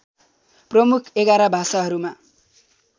प्रमुख ११ भाषाहरूमा